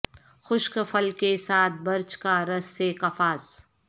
خشک پھل کے ساتھ برچ کا رس سے کفاس